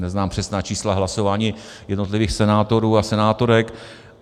Neznám přesná čísla hlasování jednotlivých senátorů a senátorek.